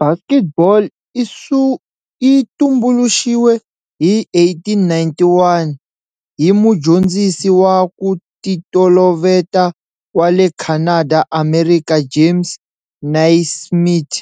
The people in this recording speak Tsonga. Basketball yi tumbuluxiwe hi 1891 hi mudyondzisi wa ku titoloveta wa le Canada-Amerika James Naismith